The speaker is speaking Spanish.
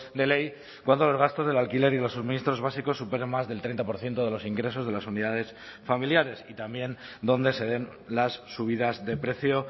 de ley cuando los gastos del alquiler y los suministros básicos superen más del treinta por ciento de los ingresos de las unidades familiares y también donde se den las subidas de precio